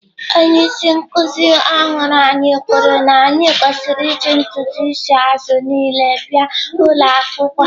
Onye isi nkuzi ọhụrụ ahụ kwuru na anyị kwesịrị iji ntutu isi azụ niile bịa ụlọ akwụkwọ.